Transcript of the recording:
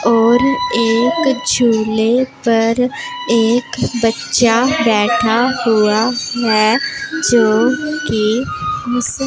और एक झूले पर एक बच्चा बैठा हुआ है जो की मूस--